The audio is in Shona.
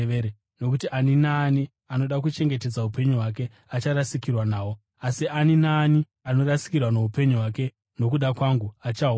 Nokuti ani naani anoda kuchengetedza upenyu hwake acharasikirwa nahwo, asi ani naani anorasikirwa noupenyu hwake nokuda kwangu achahuwana.